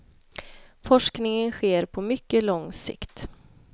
Forskningen sker på mycket lång sikt.